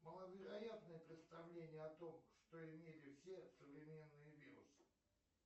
маловероятное представление о том что имели все современные вирусы